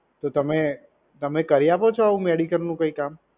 તો તમે, તમે કરી આપો છો આવુ medical કઈ કામ?